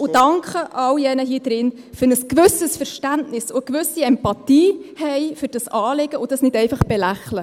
Ich danke allen hier im Saal, die ein gewisses Verständnis und eine gewisse Empathie für dieses Anliegen haben und es nicht einfach belächeln.